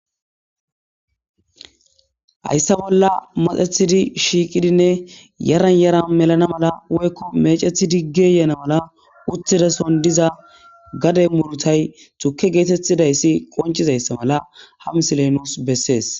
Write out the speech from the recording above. Hayssa bolla maxetidinne shiiqidinne yaran yaran melana mala woyko meecetidi geeyana mala uttidason diza gade muuruta tukke geetetizaysi qonccida mala ha misiley nuus bessees.